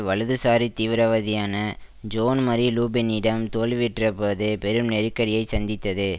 வலதுசாரி தீவிரவாதியான Jean Marie லூபென்னிடம் தோல்வியுற்றபோது பெரும் நெருக்கடியை சந்தித்தது